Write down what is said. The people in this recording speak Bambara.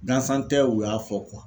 Gansan tɛ u y'a fɔ